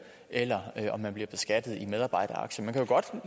eller om man bliver beskattet af medarbejderaktier man kan jo godt